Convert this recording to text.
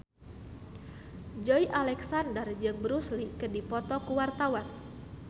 Joey Alexander jeung Bruce Lee keur dipoto ku wartawan